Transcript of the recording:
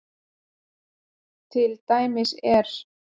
Til dæmis er